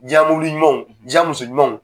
Ja mumini ɲumanw ja muso ɲumanw .